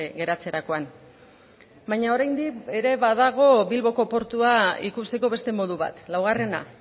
geratzerakoan baina oraindik ere badago bilboko portua ikusteko beste modu bat laugarrena